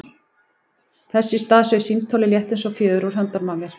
Þess í stað sveif símtólið, létt eins og fjöður, úr höndunum á mér.